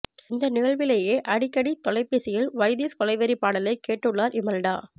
இந்த நிகழ்விலேயே அடிக்கடி தொலைபேசியில் வைதிஸ் கொலைவெறிப் பாடலை கேட்டுள்ளார் இமல்டா